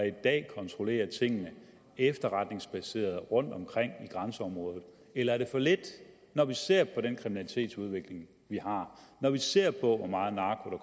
i dag kontrollerer tingene efterretningsbaseret rundtomkring i grænseområdet eller er det for lidt når vi ser på den kriminalitetsudvikling vi har når vi ser på hvor meget narko